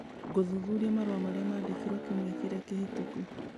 ngĩthuthuria marũa marĩa mandĩkĩirũo kiumia kĩrĩa kĩhĩtũku.